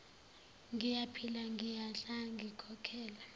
ngiyaphila ngiyadla ngikhokhela